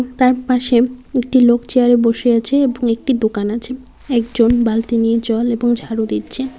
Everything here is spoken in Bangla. তার পাশে একটি লোক চেয়ারে বসে আছে এবং একটি দোকান আছে একজন বালতি নিয়ে জল এবং ঝাড়ু দিচ্ছে।